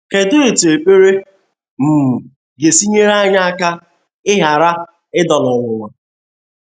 Kedụ etú ekpere um ga esi nyere anyị aka ịghara ịda n’ọnwụnwa?